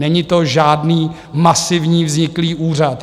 Není to žádný masivní vzniklý úřad.